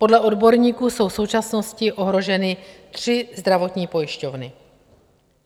Podle odborníků jsou v současnosti ohroženy tři zdravotní pojišťovny.